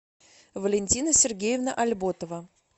валентина сергеевна альботова